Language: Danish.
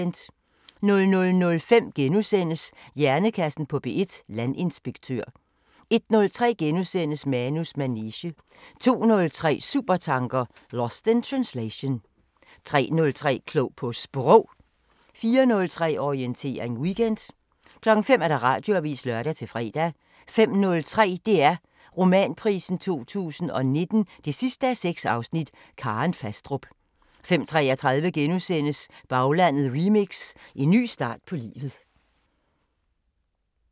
00:05: Hjernekassen på P1: Landinspektør * 01:03: Manus manege * 02:03: Supertanker: Lost in translation 03:03: Klog på Sprog 04:03: Orientering Weekend 05:00: Radioavisen (lør-fre) 05:03: DR Romanprisen 2019 6:6 – Karen Fastrup 05:33: Baglandet remix: En ny start på livet *